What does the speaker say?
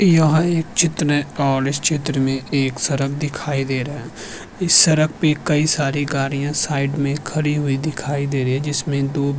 यह एक चित्र है और इस चित्र में एक सड़क दिखाई दे रहा है इस सड़क पे कई सारे गाड़ियाँ साईड में खड़ी हुई दिखाई दे रही है जिसमें दो --